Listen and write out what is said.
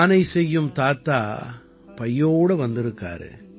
பானை செய்யும் தாத்தா பையோடு வந்திருக்காரு